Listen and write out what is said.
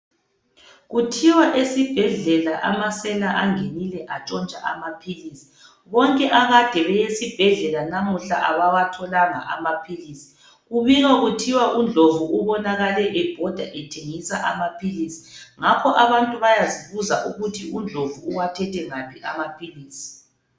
Kuthiwa esibhedlela amasela angenile atshontsha amaphilisi. Bonke abakade beye esibhedlela namuhla abawatholanga amaphilisi. Kubikwa kuthiwa uDlomo ubonakale ebhoda ethengisa amaphilisi. Ngakho abantu bayazibuza ukuthi uDlomo uwathethe ngaphi amaphilisi.